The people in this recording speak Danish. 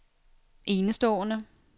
enestående